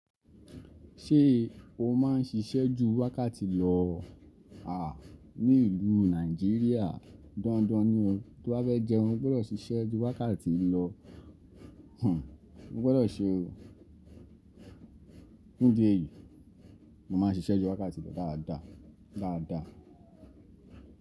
Ṣé o má ń ṣiṣẹ́ ju wákàtí lọ? À, ní ìlú Nàìjíríà dandan ni o, to bá fẹ́ jẹun, o gbọ́dọ̀ ṣiṣẹ́ ju wákàtí lọ. Hmmm, mo gbọ́dọ̀ se o. Nídi èyí, mo má ń ṣiṣẹ́ ju wákàtí lọ dáadáa, dáadáa.